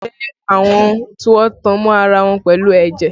Ẹbí jẹ́ àwọn tí wọ́n tan mọ́ ara wọn pẹ̀lú ẹ̀jẹ̀